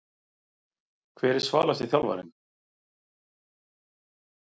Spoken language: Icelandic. Hver er svalasti þjálfarinn?